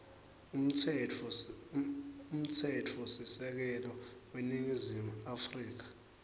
umtsetfosisekelo weningizimu afrika